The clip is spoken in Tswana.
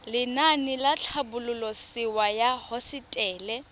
lenaane la tlhabololosewa ya hosetele